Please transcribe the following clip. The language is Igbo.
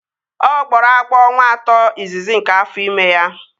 Ọ gbọrọ agbọ afọ atọ izizi nke afọ ime ya